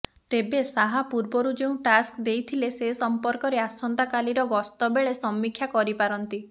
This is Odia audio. ତେବେ ଶାହା ପୂର୍ବରୁ ଯେଉଁ ଟାସ୍କ ଦେଇଥିଲେ ସେ ସଂପର୍କରେ ଆସନ୍ତାକାଲିର ଗସ୍ତ ବେଳେ ସମୀକ୍ଷା କରିପାରନ୍ତି